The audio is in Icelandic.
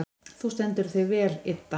Þú stendur þig vel, Idda!